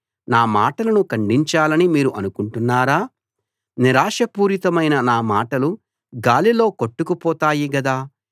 నా మాటలను ఖండించాలని మీరు అనుకుంటున్నారా నిరాశాపూరితమైన నా మాటలు గాలిలో కొట్టుకుపోతాయి గదా